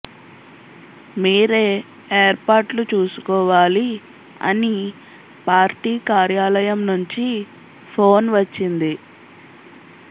మీరే ఏర్పాట్లు చూసుకోవాలి అని పార్టీ కార్యాలయం నుంచి ఫోన్ వచ్చింది